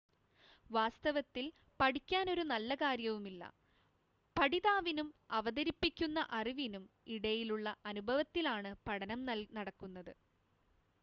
വാസ്തവത്തിൽ പഠിക്കാൻ ഒരു നല്ല കാര്യവുമില്ല പഠിതാവിനും അവതരിപ്പിക്കുന്ന അറിവിനും ഇടയിലുള്ള അനുഭവത്തിലാണ് പഠനം നടക്കുന്നത്